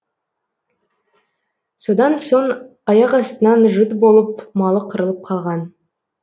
содан соң аяқастынан жұт болып малы қырылып қалған